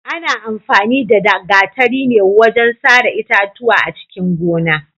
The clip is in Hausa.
Ana amfani da gatari ne wajen sare itatuwa a cikin gona.